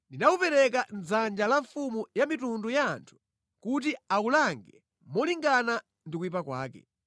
ndinawupereka mʼdzanja la mfumu ya mitundu ya anthu kuti awulange molingana ndi kuyipa kwake.